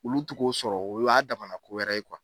Olu t'u k'o sɔrɔ u y'a damana kowɛrɛ ye